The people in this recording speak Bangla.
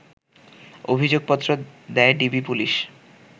অভিযোগপত্র দেয় ডিবি পুলিশ